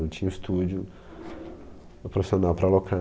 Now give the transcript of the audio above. Não tinha estúdio profissional para alocar.